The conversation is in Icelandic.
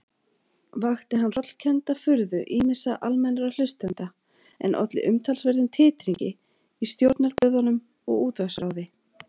Vakti hann hrollkennda furðu ýmissa almennra hlustenda, en olli umtalsverðum titringi í stjórnarblöðunum og útvarpsráði.